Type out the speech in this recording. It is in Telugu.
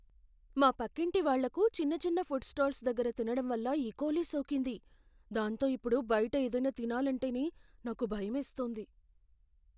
మా పక్కింటి వాళ్ళకు చిన్న చిన్న ఫుడ్ స్టాల్స్ దగ్గర తినడం వల్ల ఇకోలీ సోకింది. దాంతో ఇప్పుడు బయట ఏదైనా తినాలంటేనే నాకు భయమేస్తుంది.